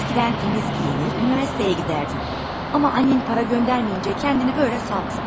Əvvəllər təmiz geyinər, universitetə gedərdin, amma anan pul göndərməyincə özünü belə boşladın.